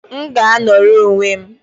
M ga-anọrọ onwe m!